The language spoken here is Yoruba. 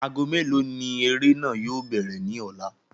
Aago mélòó ni eré náà yóò bẹ̀rẹ̀ ní ọ̀la?